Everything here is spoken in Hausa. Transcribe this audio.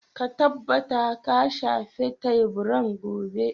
Ka tabbata ka shafe teburan gobe.